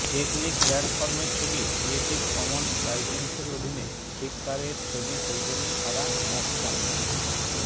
tectonic ল্যান্ডফর্মের ছবি creative commons লাইসেন্সের অধীনে ফ্লিকারের ছবি সৌজন্যে সারা ম্যাকক্যানস